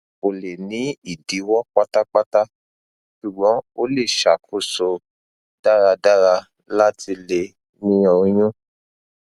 ko le ni idiwọ patapata ṣugbọn o le ṣakoso daradara lati le ni oyun